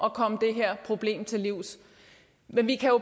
at komme det her problem til livs vi kan